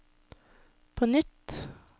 på nytt